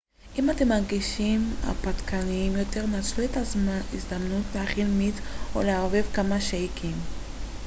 אם אתם מרגישים הרפתקניים יותר נצלו את ההזדמנות להכין מיץ או לערבב כמה שייקים